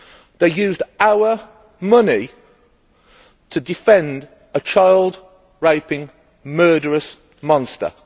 It used our money to defend a child raping murderous monster.